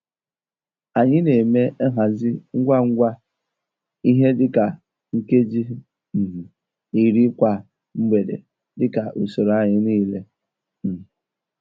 Anyị n'eme nhazi ngwa ngwa ihe di ka nkeji um iri kwa mgbede dika usoro anyi niile um